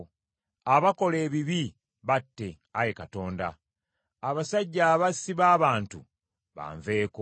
Abakola ebibi batte, Ayi Katonda; abasajja abassi b’abantu banveeko.